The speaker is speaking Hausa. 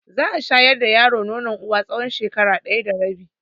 Za a shayar da yaro nonon uwa tsawon shekara ɗaya da rabi.